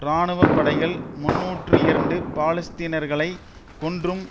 இராணுவ படைகள் முன்னூற்று இரண்டு பாலஸ்தீனர்களை கொன்றும்